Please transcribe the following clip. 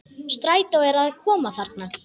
Strætó er að koma þarna!